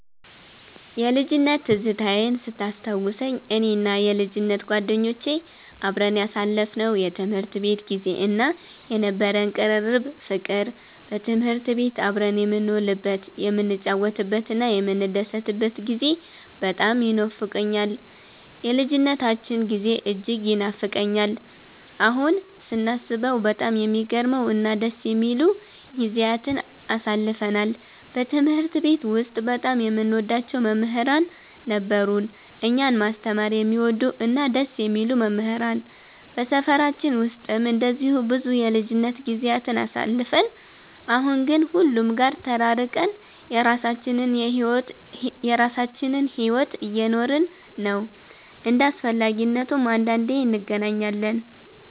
የልጅነት ትዝታዬን ስታስታውሰኝ፣ እኔና የልጅነት ጓደኞቼ አብረን ያሳለፍነው የትምህርት ቤት ጊዜ እና የነበረን ቅርርብ ፍቅር፣ በትምህርት ቤት አብረን የምንውልበት፣ የምንጫወትበትና የምንደሰትበት ጊዜ በጣም ይኖፋቀኛል። የልጅነታችን ጊዜ እጅግ ይናፍቀኛል። አሁን ስናስበው በጣም የሚገርሙ እና ደስ የሚሉ ጊዜያትን አሳልፈናል። በትምህርት ቤት ውስጥ በጣም የምንወዳቸው መምህራን ነበሩን፤ እኛን ማስተማር የሚወዱ እና ደስ የሚሉ መምህራን። በሰፈራችን ውስጥም እንደዚሁ ብዙ የልጅነት ጊዜያትን አሳልፈን፣ አሁን ግን ሁሉም ጋር ተራርቀን የራሳችንን ሕይወት እየኖርን ነው። እንደ አስፈላጊነቱም አንዳንዴ እንገናኛለን።